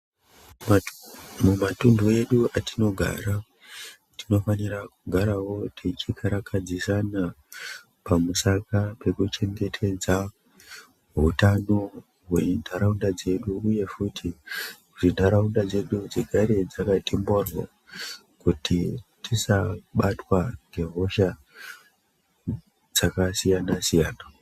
Mumatuntu edu atinogara tinofanira kugarawo tichikarakadzisana pamusaka pekuchengetedza hutano hwentaraunda dzedu uyehe kuti ntaraunda dzedu dzigare dzakati mhoryo kuti tisabatwa ngehosha dzakasiyana-siyana.